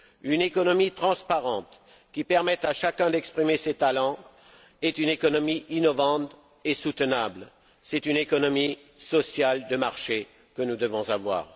Une économie transparente, qui permet à chacun d'exprimer ses talents, est une économie innovante et soutenable. C'est une économie sociale de marché que nous devons avoir.